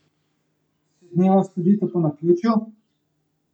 Si dneva sledita po naključju?